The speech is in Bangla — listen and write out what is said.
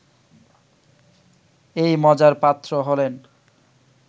এই মজার পাত্র হলেন